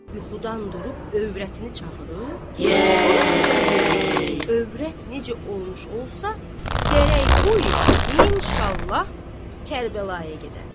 Yuxudan durub övrətini çağırıb, ona xəbər verdi ki, övrət necə olmuş olsa, gərək bu il inşallah Kərbəlaya gedəm.